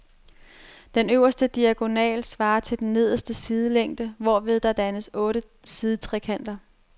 Den øverste diagonal svarer til den nederste sidelængde, hvorved der dannes otte sidetrekanter.